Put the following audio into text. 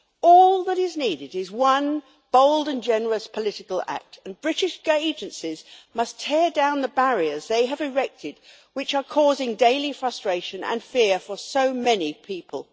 All that is needed is one bold and generous political act, and British agencies must tear down the barriers they have erected which are causing daily frustration and fear for so many people.